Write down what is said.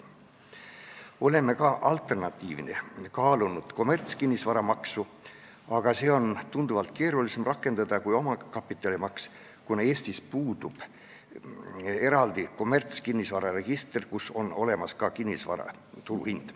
Oleme alternatiivina kaalunud kommertskinnisvara maksu, aga seda on tunduvalt keerulisem rakendada kui omakapitalimaksu, kuna Eestis puudub eraldi kommertskinnisvara register, kus on olemas ka kinnisvara turuhind.